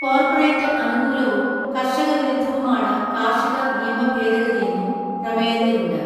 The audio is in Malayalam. കോർപ്പറേറ്റ് അനുകൂലവും കർഷ വിരുദ്ധവുമാണ് കാർഷിക നിയമ ഭേദഗതിയെന്നും പ്രമേയത്തിലുണ്ട്.